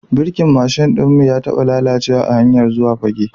Birkin mashin ɗin mu ya taba lalacewa a hanyar zuwa Fagge.